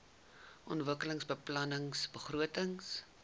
ontwikkelingsbeplanningbegrotings